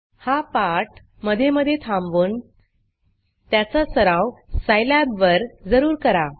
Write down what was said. हा पाठ मधे मधे थांबवून त्याचा सराव Scilabसाईलॅब वर जरूर करा